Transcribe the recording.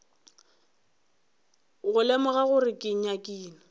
go lemoga gore ke nyakile